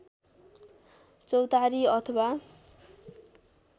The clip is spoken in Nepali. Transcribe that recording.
चौतारी अथवा